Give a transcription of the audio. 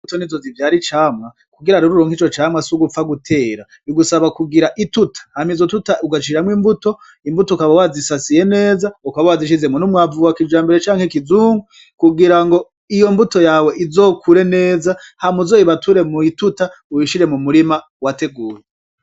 Imbuto nizo zivyara icamwa, kugira uronke ico camwa sigupfa gutera, bigusaba kugira ituta hama izo tuta ugashiramwo imbuto, imbuto ukaba wazisasiye neza ukaba wazishizemwo n'umwavu wakijambere canke kizungu kugira ngo iyo mbuto yawe izokure neza hama uzoyibature mw'ituta uyishire mu murima wateguye.